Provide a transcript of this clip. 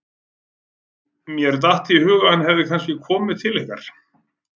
Mér datt í hug að hann hefði kannski komið til ykkar.